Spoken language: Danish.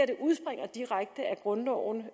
det udspringer direkte af grundloven